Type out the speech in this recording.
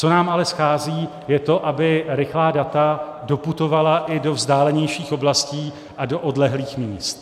Co nám ale schází, je to, aby rychlá data doputovala i do vzdálenějších oblastí a do odlehlých míst.